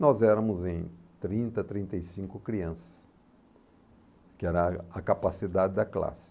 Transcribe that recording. Nós éramos em trinta, trinta e cinco crianças, que era a a capacidade da classe.